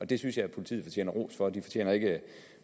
det synes jeg politiet fortjener ros for de fortjener ikke